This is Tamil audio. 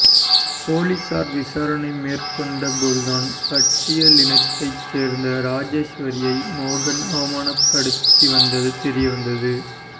போலீசார் விசாரணை மேற்கொண்டபோதுதான் பட்டியலினத்தை சேர்ந்த ராஜேஸ்வரியை மோகன் அவமானப்படுத்தி வந்தது தெரியவந்தது